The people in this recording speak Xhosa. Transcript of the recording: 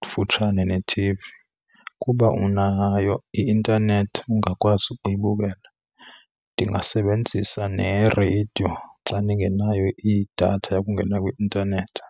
kufutshane ne-T_V. Ukuba unayo i-intanethi ungakwazi ukuyibukela. Ndingasebenzisa nereyidiyo xa ndingenayo idatha yokungena kwi-intanethi.